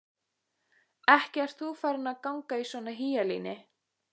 Ekki ert þú farin að ganga í svona hýjalíni?